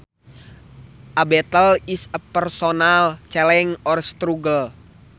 A battle is a personal challenge or struggle